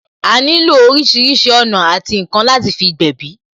A nílò orísìírísìí ọ̀nà àti ǹkan láti fi gbèbí